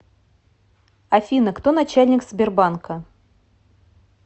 афина кто начальник сбербанка